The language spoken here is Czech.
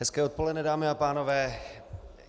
Hezké odpoledne, dámy a pánové.